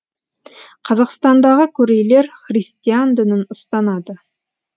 қазақстандағы корейлер христиан дінін ұстанады